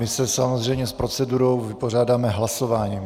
My se samozřejmě s procedurou vypořádáme hlasováním.